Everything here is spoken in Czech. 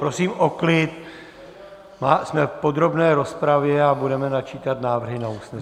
Prosím o klid, jsme v podrobné rozpravě a budeme načítat návrhy na usnesení.